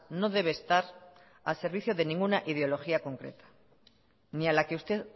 no debe estar a servicio de ninguna ideología concreta ni a la que usted